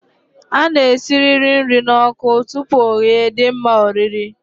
A na-esirịrị nri n'ọkụ tupu ọ ghee dị mma orir